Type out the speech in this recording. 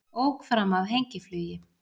Ók fram af hengiflugi